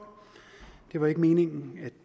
det var ikke meningen at